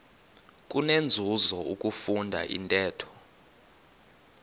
kunenzuzo ukufunda intetho